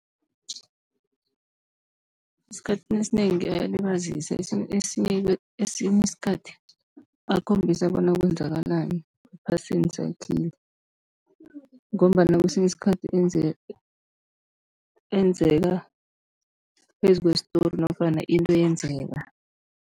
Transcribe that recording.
Esikhathini esinengi ayalibazisa, esinye isikhathi akhombisa bona kwenzakalani ephasini sakhile, ngombana kesinye isikhathi enzeka phezu kwestori nofana into eyenzeka.